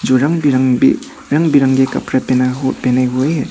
जो रंग बिरंगी रंग बिरंगे कपड़े पहने पहने हुए हैं।